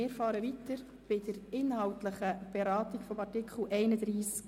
Wir fahren weiter mit der inhaltlichen Beratung von Artikel 31a.